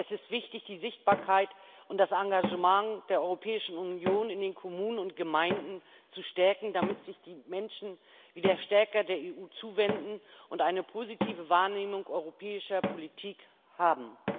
Es ist wichtig, die Sichtbarkeit und das Engagement der Europäischen Union in den Kommunen und Gemeinden zu stärken, damit sich die Menschen wieder stärker der EU zuwenden und eine positive Wahrnehmung europäischer Politik haben.